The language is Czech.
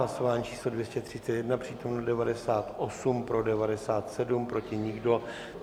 Hlasování číslo 231, přítomno 98, pro 97, proti nikdo.